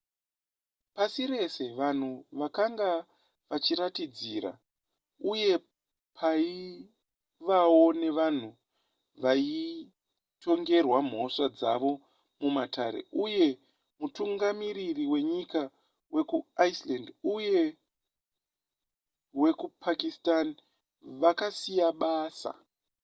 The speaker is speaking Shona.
pasi rese vanhu vakanga vachiratidzira uye paivawo nevanhu vaitongerwa mhosva dzavo mumatare uye mutungamiriri wenyika wekuiceland uye wekupakistan vakasiya basa